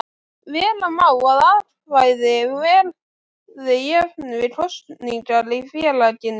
Vera má að atkvæði verði jöfn við kosningar í félaginu.